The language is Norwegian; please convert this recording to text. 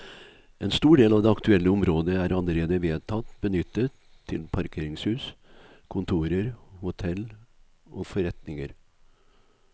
En stor del av det aktuelle området er allerede vedtatt benyttet til parkeringshus, kontorer, hotell og forretninger.